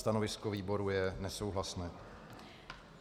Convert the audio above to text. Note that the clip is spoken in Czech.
Stanovisko výboru je nesouhlasné.